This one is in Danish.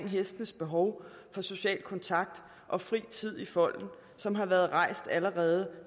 hestenes behov for social kontakt og fri tid i folden som har været rejst allerede